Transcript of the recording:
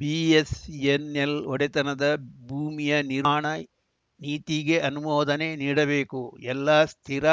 BSNL ಒಡೆತನದ ಭೂಮಿಯ ನಿರ್ವಹಣಾ ನೀತಿಗೆ ಅನುಮೋದನೆ ನೀಡಬೇಕು ಎಲ್ಲ ಸ್ಥಿರ